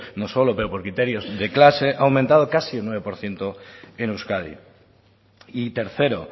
no solo por criterios de clase ha aumentado casi un nueve por ciento en euskadi y tercero